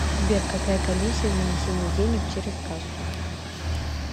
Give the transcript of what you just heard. сбер какая комиссия за внесение денег через кассу